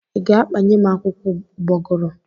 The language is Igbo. Ị ga-akpanyem akwụkwọ ụgbọguru?